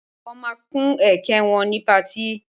Wọ́n ma kun ẹ̀kẹ́ wọn ni pati